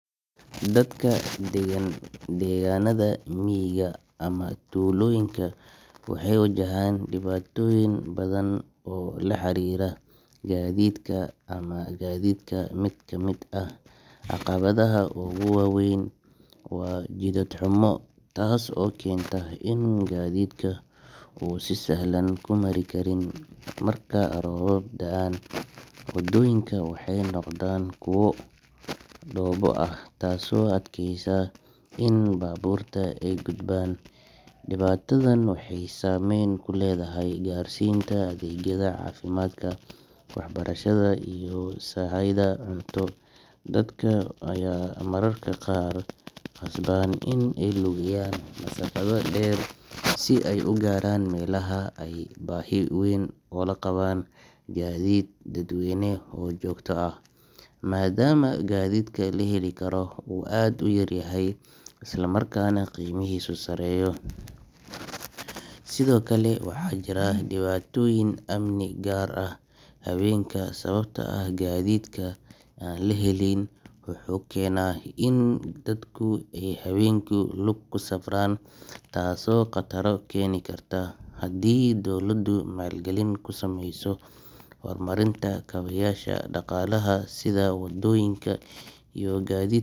Dadka deggan deegaannada miyiga ama tuulooyinka waxay wajahaan dhibaatooyin badan oo la xiriira gadidka ama gaadiidka. Mid ka mid ah caqabadaha ugu waa weyn waa jidad xumo, taas oo keenta in gaadiidku uusan si sahlan ku mari karin. Marka roobab da’aan, wadooyinka waxay noqdaan kuwo dhoobo ah, taasoo adkeysa in baabuurta ay gudbaan. Dhibaatadan waxay saameyn ku leedahay gaarsiinta adeegyada caafimaadka, waxbarashada, iyo sahayda cunto. Dadka ayaa mararka qaar qasban in ay lugeeyaan masaafado dheer si ay u gaaraan meelaha ay adeegyada ka heli karaan. Waxaa kaloo jirta baahi weyn oo loo qabo gaadiid dadweyne oo joogto ah, maadaama gaadiidka la heli karo uu aad u yar yahay, isla markaana qiimihiisu sarreeyo. Sidoo kale, waxaa jira dhibaatooyin amni, gaar ahaan habeenkii, sababtoo ah gaadiidka aan la helin wuxuu keenaa in dadku ay habeenkii lug ku safraan, taasoo khataro keeni karta. Haddii dowladdu maalgelin ku samayso horumarinta kaabayaasha dhaqaalaha sida wadooyinka iyo gaadiid.